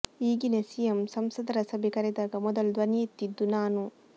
ಈಗಿನ ಸಿಎಂ ಸಂಸದರ ಸಭೆ ಕರೆದಾಗ ಮೊದಲು ಧ್ವನಿ ಎತ್ತಿದ್ದು ನಾನು